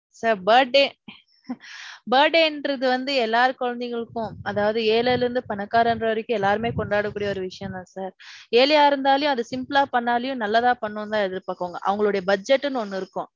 sir. Birthday birthday ங்கிறது வந்து எல்லாரு குழந்தைகளுக்கும் அதாவது ஏழைல இருந்து பணக்காரர்கள் வரைக்கும் எல்லாருமே கொண்டாட கூடிய ஒரு விஷயம் தான் sir. ஏழையா இருந்தாலும் அது simple ளா பன்னுனாலும் நல்லதா பண்ணனும்னு தான் எதிர் பாப்பாங்க. அவங்களுடைய budget ன்னு ஒன்னு இருக்கும்.